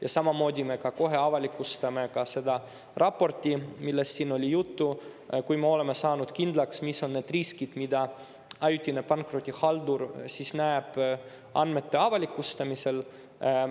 Ja samamoodi, me kohe avalikustame raporti, millest siin oli juttu, kui me oleme kindlaks, mis on need riskid, mida ajutine pankrotihaldur näeb andmete avalikustamise puhul.